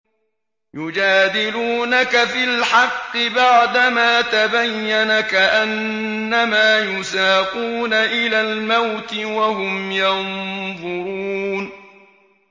يُجَادِلُونَكَ فِي الْحَقِّ بَعْدَمَا تَبَيَّنَ كَأَنَّمَا يُسَاقُونَ إِلَى الْمَوْتِ وَهُمْ يَنظُرُونَ